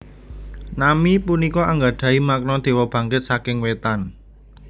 Nami punika anggadhahi makna Dewa Bangkit saking Wétan